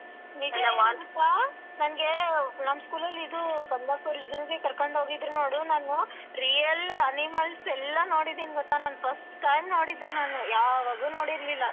ನಿಜ ಏನ್ ನನ್ಗೆ ನಮ್ school ಅಲ್ಲಿ ಇದು Kamalapur zoo ಕರ್ಕೊಂಡ್ ಹೋಗಿದ್ರೂ ನೋಡು ನಾನು real animals ಎಲ್ಲಾ ನೋಡಿದ್ದೀನಿ ಗೊತ್ತ ನಾನ್ first time ನೋಡಿದ್ದು ನಾನು ಯಾವಾಗು ನೋಡಿರ್ಲಿಲ್ಲ.